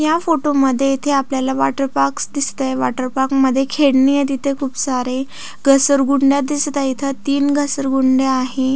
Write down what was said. या फोटो मध्ये इथे आपल्याला वाॅटर पार्क दिसत आहे वाॅटर पार्क मध्ये खेळणी तेथे खुप सारी घसरगुड्या दिसत आहेत तीन घसरगुड्या आहेत.